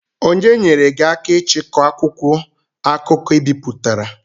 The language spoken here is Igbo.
Onye nyeere gị aka ichikọ akwụkwọ akụkọ I bipụtara?